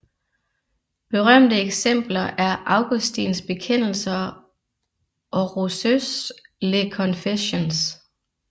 Berømte eksempler er Augustins bekendelser og Rousseaus Les Confessions